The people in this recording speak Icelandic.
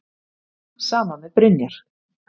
Sama með Brynjar.